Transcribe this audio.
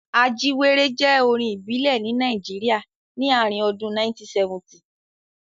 Ajíwéré jẹ́ orin ìbílẹ̀ ní Nàìjíríà ni ààrin ọdún 1970.